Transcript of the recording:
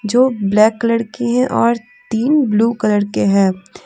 जो black colour है और तीन ब्लू कलर के हैं।